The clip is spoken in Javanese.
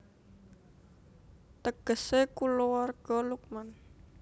Tegesé Kulawarga Luqman